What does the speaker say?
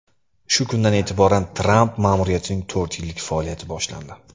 Shu kundan e’tiboran Tramp ma’muriyatining to‘rt yillik faoliyati boshlandi.